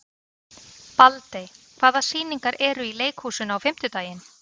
Baldey, hvaða sýningar eru í leikhúsinu á fimmtudaginn?